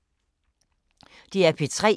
DR P3